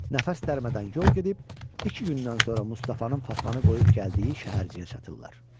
Nəfəs dərmədən yol gedib iki gündən sonra Mustafanın Fatmanı qoyub gəldiyi şəhərciyə çatırlar.